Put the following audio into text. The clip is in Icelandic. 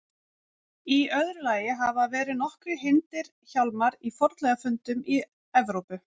Í öðru lagi hafa verið nokkrir hyrndir hjálmar í fornleifafundum í Evrópu.